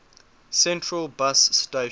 central bus station